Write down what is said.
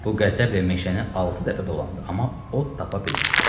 Bu qəzəblə meşəni altı dəfə dolandı, amma ot tapa bilmədi.